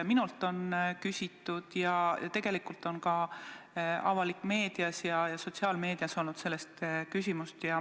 Minult on küsitud ja tegelikult on ka avalikus meedias ja sotsiaalmeedias seda arutatud.